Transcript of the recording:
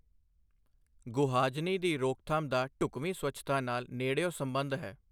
ਗੁਹਾਜਨੀ ਦੀ ਰੋਕਥਾਮ ਦਾ ਢੁਕਵੀਂ ਸਵੱਛਤਾ ਨਾਲ ਨੇੜਿਓਂ ਸਬੰਧ ਹੈ।